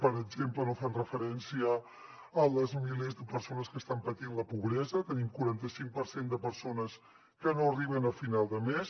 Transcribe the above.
per exemple no fan referència als milers de persones que estan patint la pobresa i tenim un quaranta·cinc per cent de persones que no arriben a final de mes